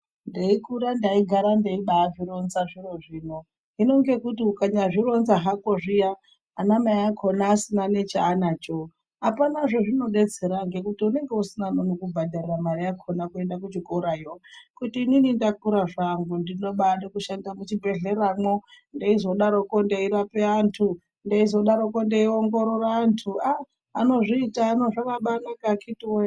Teikura ndaigara ndeibaazvironza zviro zvino, hino ngekuti ukanyazvironza hako zviya anamai akona asina nechaanacho hapana zvezvinodetsera ngekuti unenge usina anokubhadharira mari yakona kuenda kuchikorayo kuti inini ndakura zvangu ndinobaade kushanda muchibhedhleramwo ndeizodarokwo ndeirape antu ndeizodarokwo ndeiongorora antu. Ahh anozviita ano zvakabanaka akiti woye.